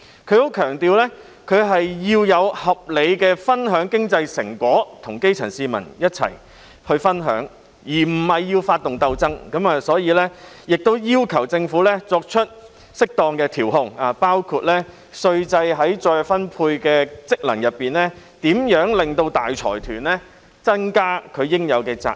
他特別強調，社會要合理地分享經濟成果，即基層市民有份一起分享，而他並非要發動鬥爭，所以，他要求的是政府作出適當的調控，包括運用稅制在財富再分配方面的功能，令大財團增加應有責任。